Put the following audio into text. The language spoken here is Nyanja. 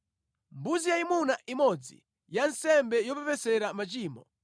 mbuzi yayimuna imodzi ya nsembe yopepesera machimo;